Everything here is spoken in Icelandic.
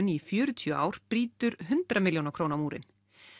í fjörutíu ár brýtur hundrað milljóna króna múrinn